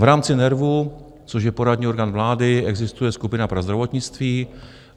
V rámci NERVu, což je poradní orgán vlády, existuje skupina pro zdravotnictví.